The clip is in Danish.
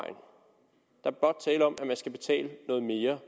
om at man skal betale noget mere